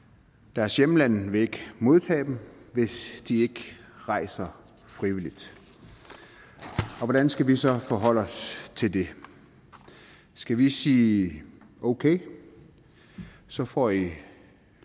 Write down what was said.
deres hjemlande vil ikke modtage dem hvis de ikke rejser frivilligt hvordan skal vi så forholde os til det skal vi sige okay så får i